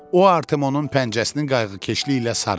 O Artimonun pəncəsini qayğıkeşliyi ilə sarıdı.